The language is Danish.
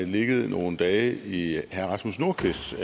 ligget nogle dage i herre rasmus nordqvists